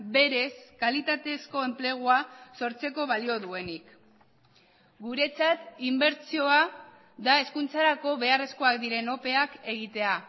berez kalitatezko enplegua sortzeko balio duenik guretzat inbertsioa da hezkuntzarako beharrezkoak diren opeak egitea